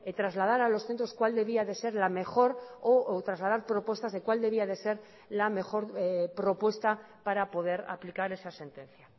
trasladar a los centros cuál debía de ser la mejor o trasladar propuestas de cuál debía de ser la mejor propuesta para poder aplicar esa sentencia